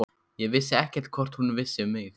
Ég vissi ekkert hvort hún vissi um mig.